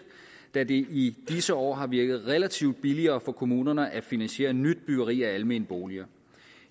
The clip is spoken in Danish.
da det i disse år har virket relativt billigere for kommunerne at finansiere nyt byggeri af almene boliger